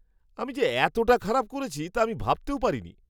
আমি যে এতটা খারাপ করেছি তা আমি ভাবতেও পারিনি!